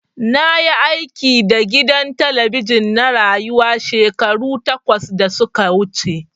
Na yi aiki da gidan talabijin na Rayuwa shekaru takwas da su ka wuce.